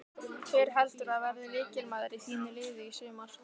Hver heldurðu að verði lykilmaður í þínu liði í sumar?